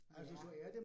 Ja